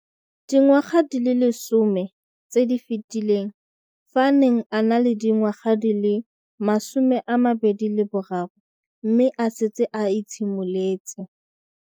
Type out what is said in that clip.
Dingwaga di le 10 tse di fetileng, fa a ne a le dingwaga di le 23 mme a setse a itshimoletse.